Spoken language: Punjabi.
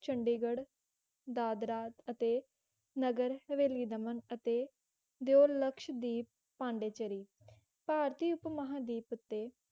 ਚੰਡੀਗੜ੍ਹ ਦਾਦਰਾ ਅਤੇ ਨਗਰ ਹਵੇਲੀ ਦਮਨ ਅਤੇ ਦਿਵ ਲਕਸ਼ਵਦੀਪ ਪੋਨਡੁਚੇਰੀ ਭਾਰਤੀ ਉੱਪ ਮਹਾਂਦੀਪ ਉੱਤੇ